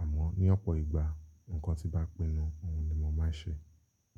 Àmọ́ ní ọ̀pọ̀ ìgbà nǹkan tí bá pinnu òun ni mo máa ń ṣe.